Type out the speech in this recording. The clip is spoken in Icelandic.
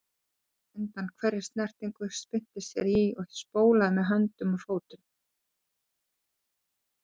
Emjaði undan hverri snertingu, spyrnti sér í og spólaði með höndum og fótum.